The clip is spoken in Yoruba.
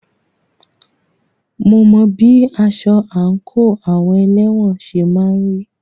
Mo mọ bí aṣọ àńkò àwọn elẹ́wọ̀n ṣe máà ń rí.